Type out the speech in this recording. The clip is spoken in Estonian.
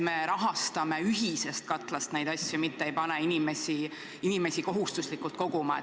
Me rahastaks ühisest katlast neid asju, mitte ei paneks inimesi kohustuslikult koguma.